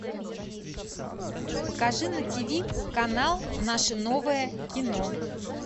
покажи на тиви канал наше новое кино